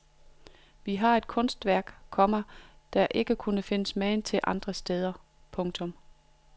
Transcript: Vi har et kunstværk, komma der ikke findes magen til andre steder. punktum